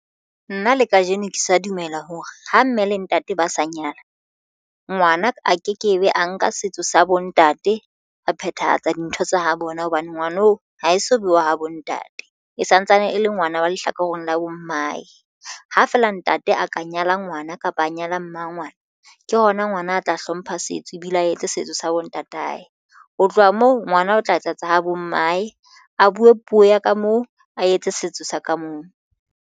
Nna le kajeno ke sa dumela hore ho mme le ntate ba sa nyala ngwana a kekebe a nka setso sa bo ntate a phethahatsa dintho tsa ho bona hobane ngwano ha e so bewa ha bo ntate e santsane e le ngwana wa lehlakoreng la bo mmae ha feela ntate a ka nyala ngwana kapa a nyala mmangwana ke hona ngwana a tla hlompha setso ebile a etse setso sa bo ntate aye. Ho tloha moo ngwana o tla etsa etsa ho bo mmae a buwe puo ya ka moo a etse setso sa ka moo.